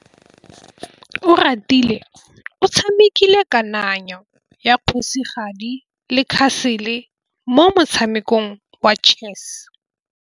Oratile o tshamekile kananyô ya kgosigadi le khasêlê mo motshamekong wa chess.